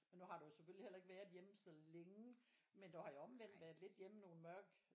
Og nu har du jo selvfølgelig heller ikke været hjemme så længe men du har jo omvendt været lidt hjemme nogle mørke øh